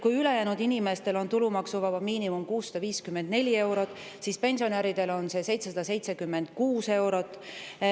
Kui ülejäänud inimestel on tulumaksuvaba miinimum 654 eurot, siis pensionäridel on see 776 eurot.